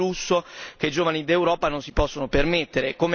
È un lusso che i giovani d'Europa non si possono permettere.